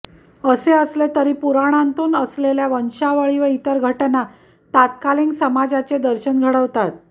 असे असले तरी पुराणांतून असेलेल्या वंशावळी व इतर घटना तत्कालिन समाजाचे दर्शन घडवतात